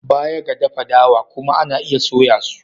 Baya ga dafa dawa kuma ana iya soya su.